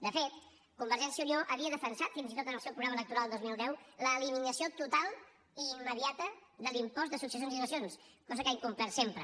de fet convergència i unió havia defensat fins i tot en el seu programa electoral del dos mil deu l’eliminació total i immediata de l’impost de successions i donacions cosa que ha incomplert sempre